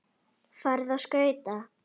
Farðu á skauta.